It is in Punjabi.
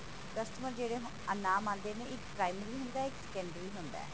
customer ਜਿਹੜੇ ਅਨਾਮ ਆਂਦੇ ਨੇ ਇੱਕ primary ਹੁੰਦਾ ਇੱਕ secondary ਹੁੰਦਾ ਹੈ